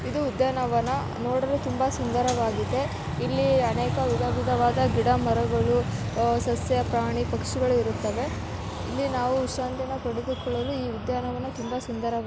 ಇದು ಉದ್ಯಾನವನ ನೋಡಲು ತುಂಬಾ ಸಂದರವಾಗಿದೆ ಇಲ್ಲಿ ಅನೇಕ ವಿಧ ವಿಧವಾದ ಗಿಡ ಮರಗಳು ಸಸ್ಯ ಪ್ರಾಣಿ ಪಕ್ಷಿಗಳು ಇರುತ್ತವೆ ಇಲ್ಲಿ ನಾವು ವಿಶ್ರಾಂತಿಯನ್ನು ಪಡೆದುಕೊಳ್ಳಲು ಈ ಉದ್ಯಾನವನ ತುಂಬ ಸುಂದರ --